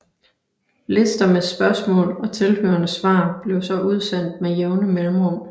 Lister med spørgsmål og tilhørende svar blev så udsendt med jævne mellemrum